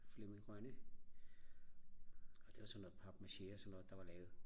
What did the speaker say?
Flemming Rønne og det var sådan noget papmache og sådan noget der var lavet